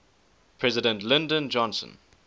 president lyndon johnson